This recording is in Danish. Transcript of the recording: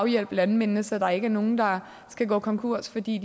hjælpe landmændene så der ikke er nogen der skal gå konkurs fordi